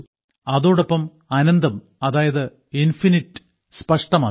അതോടൊപ്പം അനന്തം അതായത് ഇൻഫിനിറ്റ് സ്പഷ്ടമാക്കി